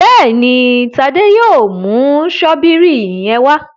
Béèni Tade yóò mú Ṣọ́bìrì yén wá.